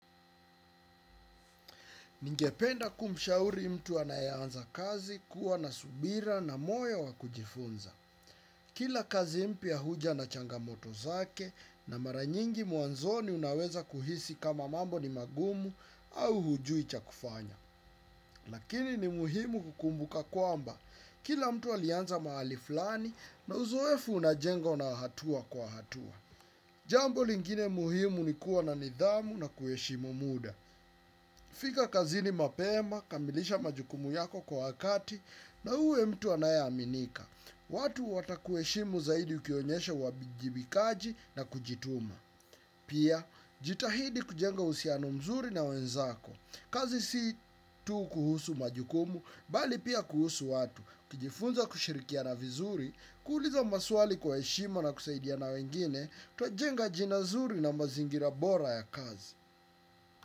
Ningependa kumushauri mtu anayeanza kazi kuwa na subira na moyo wa kujifunza. Kila kazi mpya huja na changamoto zake na maranyingi mwanzoni unaweza kuhisi kama mambo ni magumu au hujui cha kufanyaa. Lakini ni muhimu kukumbuka kwamba. Kila mtu alianza mahali fulani na uzoefu unajengwa na hatua kwa hatua. Jambo lingine muhimu ni kuwa na nidhamu na kuheshimu mtu. Fika kazini mapema, kamilisha majukumu yako kwa wakati, na uwe mtu anayeaminika. Watu watakuheshimu zaidi ukionyesha uwabijibikaji na kujituma. Pia, jitahidi kujenga uhusiano mzuri na wenzako. Kazi si tu kuhusu majukumu, bali pia kuhusu watu. Kijifunza kushirikiana vizuri, kuuliza maswali na heshima na kusaidiana wengine, twajenga jina zuri na mazingira bora ya kazi.